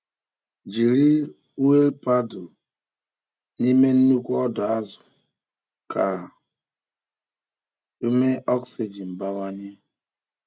Jiri wiil paddle n’ime nnukwu ọdọ azụ ka ume oxygen bawanye.